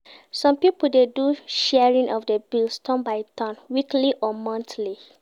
Some pipo de do di sharing of di bills turn by turn weekly or monthly